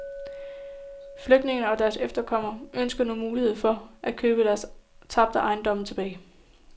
Flygtningene og deres efterkommere ønsker nu mulighed for at købe deres tabte ejendom tilbage.